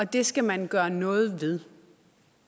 det skal man gøre noget ved